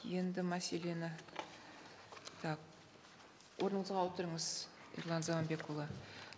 енді мәселені так орныңызға отырыңыз ерлан заманбекұлы